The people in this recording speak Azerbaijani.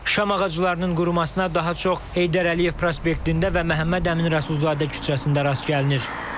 Şam ağaclarının qurumasına daha çox Heydər Əliyev prospektində və Məhəmməd Əmin Rəsulzadə küçəsində rast gəlinir.